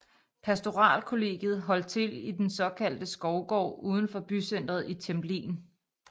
Pastoralkollegiet holdt til i den såkaldte Skovgård udenfor bycenteret i Templin